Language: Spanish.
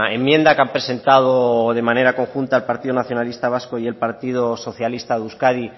enmienda que han presentado de manera conjunta el partido nacionalista vasco y el partido socialista de euskadi